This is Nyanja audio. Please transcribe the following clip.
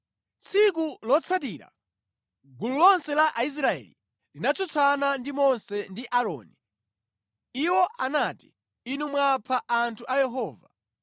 Tsiku lotsatira, gulu lonse la Aisraeli linatsutsana ndi Mose ndi Aaroni. Iwo anati, “Inu mwapha anthu a Yehova.”